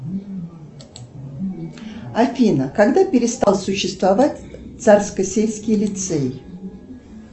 афина когда перестал существовать царскосельский лицей